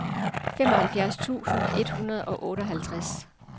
femoghalvfjerds tusind et hundrede og otteoghalvtreds